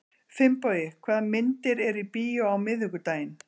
Finnbogi, hvaða myndir eru í bíó á miðvikudaginn?